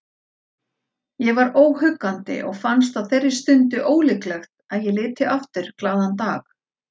Ég var óhuggandi og fannst á þeirri stundu ólíklegt að ég liti aftur glaðan dag.